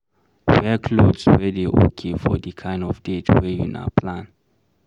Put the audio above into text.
wear cloth wey dey okay for di kind of date wey una plan